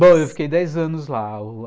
Bom, eu fiquei dez anos lá.